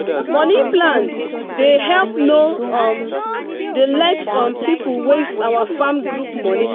money plan dey help no um dey let um people waste our farm group money.